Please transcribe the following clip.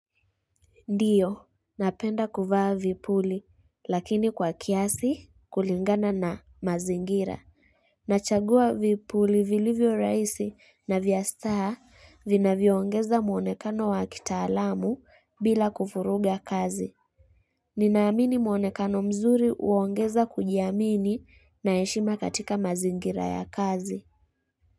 Ndio, napenda kuvaa vipuli, lakini kwa kiasi kulingana na mazingira. Nachagua vipuli vilivyo rahisi na vya staha vinavyoongeza muonekano wa kitaalamu bila kuvuruga kazi. Ninaamini muonekano mzuri uongeza kujiamini na heshima katika mazingira ya kazi.